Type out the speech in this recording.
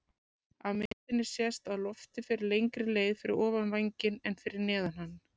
Af myndinni sést að loftið fer lengri leið fyrir ofan vænginn en fyrir neðan hann.